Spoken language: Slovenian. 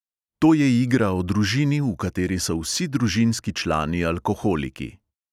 To je igra o družini, v kateri so vsi družinski člani alkoholiki.